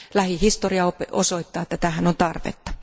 Lähihistoria osoittaa, että tähän on tarvetta.